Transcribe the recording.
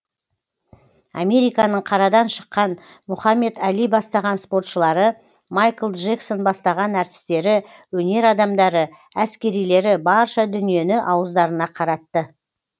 американың қарадан шыққан мұхамед али бастаған спортшылары майкл джексон бастаған әртістері өнер адамдары әскерилері барша дүниені ауыздарына қаратты